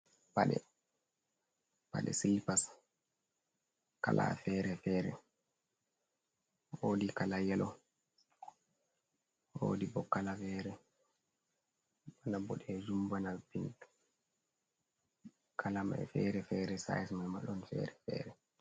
Paɗe, paɗe silipas kala feere feere, woodi kala yelo, woodi bo kala feere bana boɗeejum, bana piink, kala may feere feere, sayis may ma, ɗon feere feere.